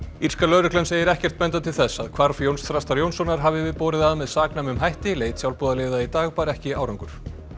írska lögreglan segir ekkert benda til þess að hvarf Jóns Þrastar Jónssonar hafi borið að með saknæmum hætti leit sjálfboðaliða í dag bar ekki árangur